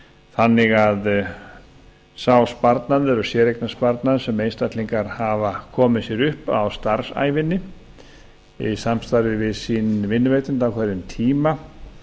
þannig að sá sparnaður og séreignarsparnaður sem einstaklingar hafa komið sér upp á starfsævinni í samstarfi við sinn vinnuveitanda á hverjum tíma